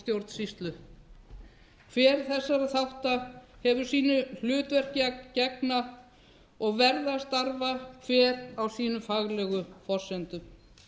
stjórnsýslu hver þessara þátta hefur sínu hlutverki að gegna og verða að starfa hver á sínum faglegu forsendum